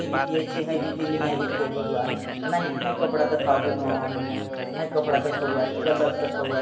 ए बीती अच्छी है ए बीती नई है है कपड़ा देखा बोलू है कपड़ा देखा हुआ है कलर देखा हुआ है।